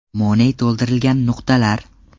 Money to‘ldirilgan nuqtalar.